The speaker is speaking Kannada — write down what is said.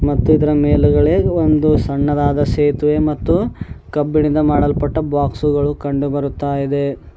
ಮತ್ತು ಇದರ ಮೇಲುಗಡೆ ಒಂದು ಸಣ್ಣದಾದ ಸೇತುವೆ ಮತ್ತು ಕಬ್ಬಿಣದಿಂದ ಮಾಡಲ್ಪಟ್ಟ ಬಾಕ್ಸ್ಗಳು ಕಂಡು ಬರುತ್ತಾ ಇದೆ.